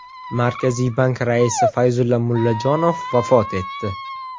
Markaziy bank raisi Fayzulla Mullajonov vafot etdi .